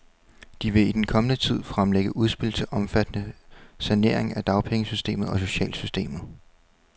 De vil i den kommende tid fremlægge udspil til omfattende saneringer af dagpengesystemet og socialsystemet.